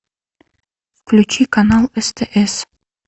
включи канал стс